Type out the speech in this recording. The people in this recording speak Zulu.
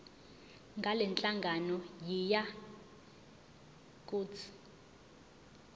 ngalenhlangano yiya kut